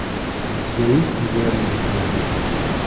у тебя есть не говори ни слова